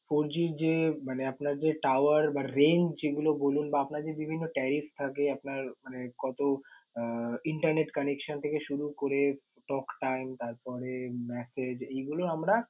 fourG যে মানে আপনার যে tower বা range যেগুলো বলুন বা আপনার যে বিভিন্ন tariff থাকে আপনার মানে কতো internet connection থেকে শুরু করে talk time তারপরে, message এইগুল আমরা